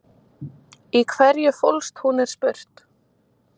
Í hverju fólst hún er spurt?